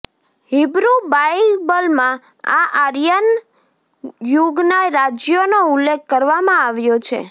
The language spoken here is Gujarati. હિબ્રૂ બાઇબલમાં આ આયર્ન યુગના રાજ્યોનો ઉલ્લેખ કરવામાં આવ્યો છે